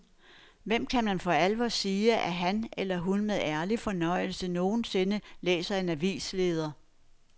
Hvem kan for alvor sige, at han eller hun med ærlig fornøjelse nogensinde læser en avisleder.